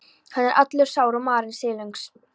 Hann er allur sár og marinn, silungs